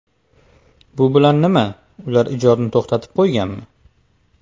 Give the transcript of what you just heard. Bu bilan nima, ular ijodni to‘xtatib qo‘yganmi?